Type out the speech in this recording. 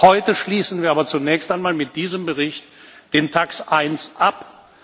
Heute schließen wir aber zunächst einmal mit diesem Bericht den TAXE I Ausschuss ab.